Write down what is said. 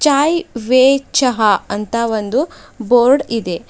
ಚಾಯ್ way ಚಹ ಅಂತ ಒಂದು ಬೋರ್ಡ್ ಇದೆ.